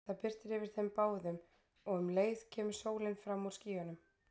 Það birtir yfir þeim báðum og um leið kemur sólin fram úr skýjunum.